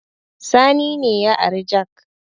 Sani ne ya ari jak